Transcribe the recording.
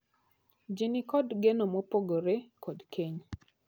Jii ni kod geno mopore kod keny.